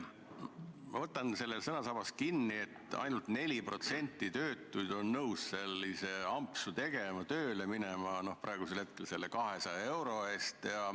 Ma võtan sul sõnasabast kinni: ainult 4% töötuid on nõus selliseid ampse tegema, tööle minema selle 200 euro eest.